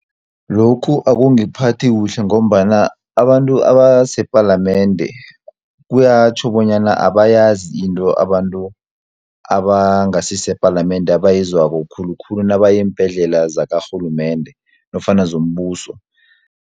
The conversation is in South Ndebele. Lokhu akungiphathi kuhle, ngombana abantu abasepalamende, kuyatjho bonyana abayazi into abantu abangasisepalamende abayizwako khulukhulu, nabaye eembhedlela zakarhulumende nofana zombuso.